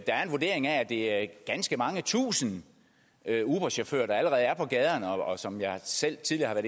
er en vurdering af at det er ganske mange tusinde uberchauffører der allerede er på gaderne og der som jeg selv tidligere